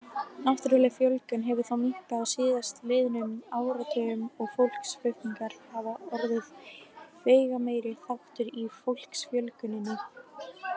Náttúrleg fjölgun hefur þó minnkað á síðastliðnum áratugum og fólksflutningar orðið veigameiri þáttur í fólksfjölguninni.